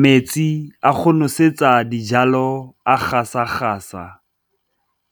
Metsi a go nosetsa dijalo a gasa gasa